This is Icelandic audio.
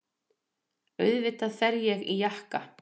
Auðvitað fer ég í jakka.